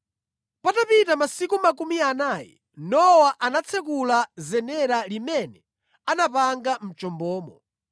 Patapita masiku makumi anayi, Nowa anatsekula zenera limene anapanga mʼchombomo